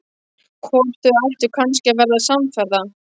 Hvort þau ættu kannski að verða samferða?